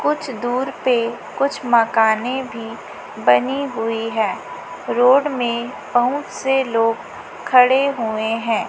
कुछ दूर पे कुछ मकाने भी बनी हुई है रोड में पहुंच से लोग खड़े हुए हैं।